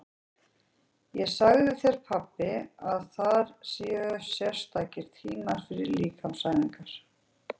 Ég sagði þér pabbi að þar eru sérstakir tímar fyrir líkamsæfingar.